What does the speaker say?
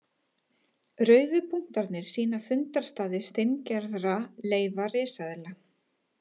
Rauðu punktarnir sýna fundarstaði steingerðra leifa risaeðla.